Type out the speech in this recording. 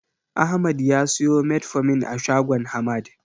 Ahmad ya siyo Metformin a shagon Hamad.